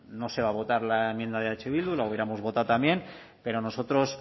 no se va a votar la enmienda de eh bildu la hubiéramos votado también pero nosotros